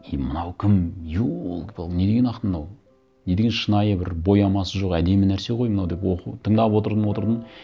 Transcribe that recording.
ей мынау кім елки палки не деген ақын мынау не деген шынайы бір боямасы жоқ әдемі нәрсе ғой мынау деп оқуын тыңдап отырдым отырдым